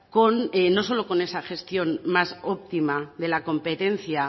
con no solo con esa gestión más óptima de la competencia